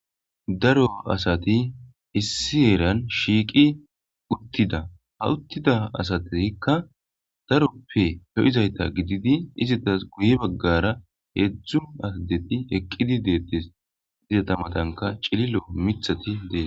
daro asati issi heeran shiiqi uttida ha uttida asateikka daroppe lo'izayta gididi izatas guye baggara heedzdzu adeti eqqidi deettes izata matanka cililo mithati dees